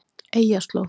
Eyjarslóð